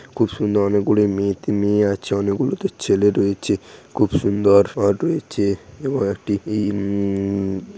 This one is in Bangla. খুব সুন্দর অনেকগুলো মেয়ে মেয়ে আছে অনেকগুলো তো ছেলে রয়েছে খুব সুন্দর ফর রয়েছে এবং একটি ইমম--